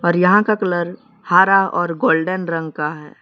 यहाँ का कलर हारा और गोल्डेन रंग का है।